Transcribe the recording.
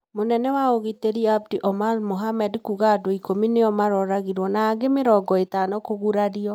Mũnene wa ũgitĩri Abdi Omar Mohamed kuga andũ ikũmi nĩyo maroragirwo na angĩ mĩrongo ĩtano kũgurario.